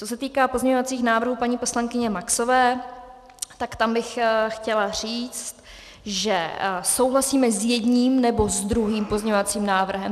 Co se týká pozměňovacích návrhů paní poslankyně Maxové, tak tam bych chtěla říct, že souhlasíme s jedním, nebo s druhým pozměňovacím návrhem.